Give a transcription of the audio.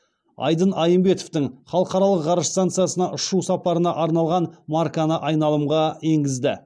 айдын айымбетовтің халықаралық ғарыш станциясына ұшу сапарына арналған марканы айналымға енгізді